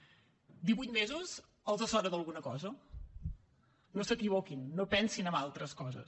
divuit mesos els sona d’alguna cosa no s’equivoquin no pensin en altres coses